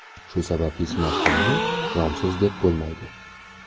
Shu sababli smartfonni romsiz deb bo‘lmaydi.